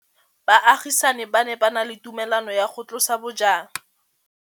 Baagisani ba ne ba na le tumalanô ya go tlosa bojang.